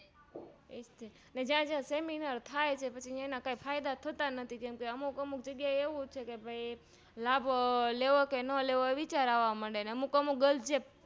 જ્યાં જ્યાં સેમીનારથાય છે તેના કાય ફાયદા થતા નથી અમુક અમુક જગ્યા એ એવું છેકે લાભ લેવોકે ના લેવો વિચાર આવા મડે અમુક અમુક Girls